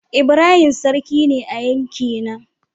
Ibrahim sarki ne a yankina.